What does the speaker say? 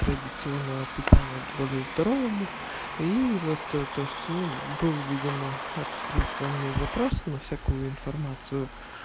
традиционного питания к более здоровому и вот то есть ну был видимо открыт во мне запрос на всякую информацию